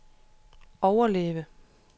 overleve